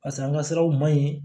Pasa an ka siraw ma ɲi